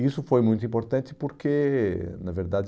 Isso foi muito importante porque, na verdade,